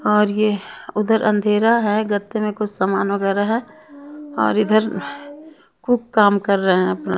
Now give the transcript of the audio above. और ये उधर अंधेरा है गद्दे में कुछ सामान वगैरह है और इधर खूब काम कर रहे हैं अपना।